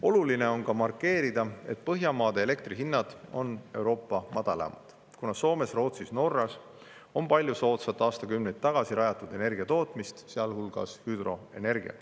Oluline on ka markeerida, et Põhjamaade elektrihinnad on Euroopa madalaimad, kuna Soomes, Rootsis ja Norras on palju soodsalt aastakümneid tagasi rajatud jaamu, kus toodetakse, sealhulgas hüdroenergiat.